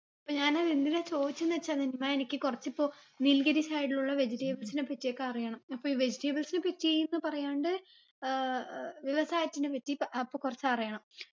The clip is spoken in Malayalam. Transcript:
അപ്പൊ ഞാന് എന്തിനാ ചോയിച്ചെന്നു വെച്ചാൽ നനിമാ എനിക്ക് കൊറച്ചിപ്പൊ nilgiris ആയിട്ടുള്ള vegetables നെ പറ്റിയൊക്കെ അറിയണം അപ്പൊ ഇ vegetables നെ പറ്റിന്ന് പറയാണ്ട് ഏർ ഏർ വ്യവസായത്തിന പറ്റി പ അപ്പൊ കൊറച്ച് അറിയണം